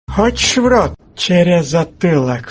хочешь в рот через затылок